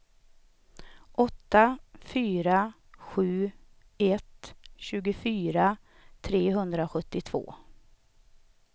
åtta fyra sju ett tjugofyra trehundrasjuttiotvå